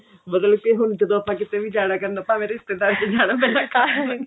ਮਤਲਬ ਕਿ ਹੁਣ ਜਦੋਂ ਆਪਾਂ ਜਾਣਾ ਕਰਨਾ ਭਾਵੇਂ ਰਿਸ਼ਤੇਦਾਰੀ ਚ ਜਾਣਾ ਪੈਣਾ